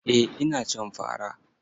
Eh ina cin fa ra.